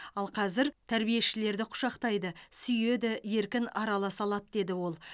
ал қазір тәрбиешілерді құшақтайды сүйеді еркін араласа алады деді ол